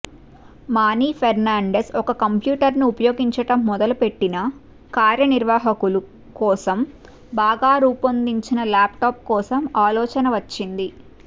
money Fernandez ఒక కంప్యూటర్ను ఉపయోగించడం మొదలుపెట్టిన కార్యనిర్వాహకుల కోసం బాగా రూపొందించిన ల్యాప్టాప్ కోసం ఆలోచన వచ్చింది